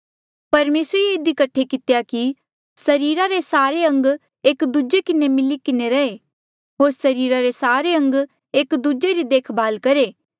परमेसरे ये इधी कठे कितेया कि सरीरा रे सारे अंग एक दूजे किन्हें मिली किन्हें रहे होर सरीरा रे सारे अंग एक दूजे री देखभाल करहे